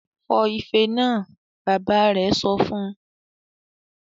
"Fọ́ ifẹ náà!", Bàbá rẹ̀ sọ fún